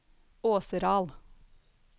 Åseral